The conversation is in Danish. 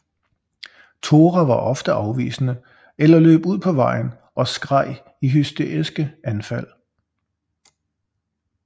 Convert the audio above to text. Tora var ofte afvisende eller løb ud på vejen og skreg i hysteriske anfald